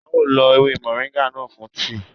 A ó lo ewé moringa náà fún tíì